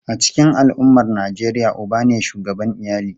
A cikin al’ummar Nijeriya, uba ne shugaban iyali.